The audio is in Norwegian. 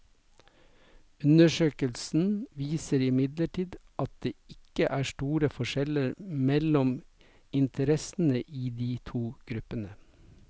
Undersøkelsen viste imidlertid at det ikke er store forskjeller mellom interessene i de to gruppene.